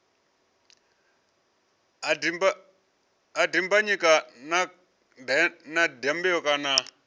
ha dimbanyika kana dyambeu kana